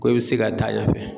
Ko i bɛ se ka taa ɲɛfɛ.